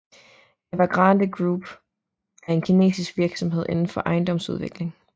Evergrande Group er en kinesisk virksomhed inden for ejendomsudvikling